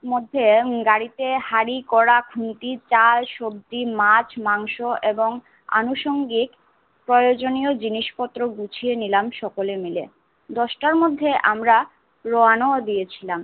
মধ্যে উম গাড়িতে হাঁড়ি কড়া খুনতি চাল সবজি মাছ মাংস এবং অনুষঙ্গিক প্রয়োজনীয় জিনিস পত্র গুছিয়ে নিলাম সকলে মিলে। দশটার মধ্যে আমরা রওনা দিয়েছিলাম